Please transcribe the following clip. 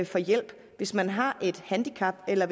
for hjælp at hvis man har et handicap eller